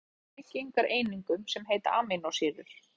Prótín eru gerð úr byggingareiningum sem heita amínósýrur.